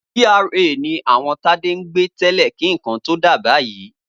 GRA ni àwọn Tádé ń gbé tẹ́lẹ̀ kí nǹkan tó dà báyìí.